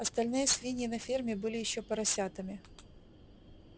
остальные свиньи на ферме были ещё поросятами